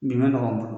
Bi ma nɔgɔn